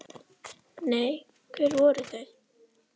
Nei, hver voru þau?